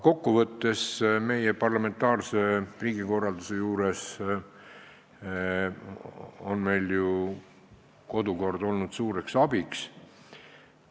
Kokkuvõttes on meie parlamentaarse riigikorralduse juures kodukord olnud suureks abiks.